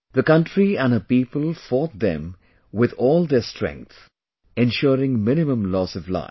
The country and her people fought them with all their strength, ensuring minimum loss of life